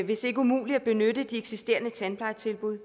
hvis ikke umuligt at benytte de eksisterende tandplejetilbud